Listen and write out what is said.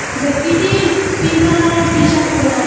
ব্যক্তিটি পিঙ্ক কালারের টিশার্ট পরে আসে।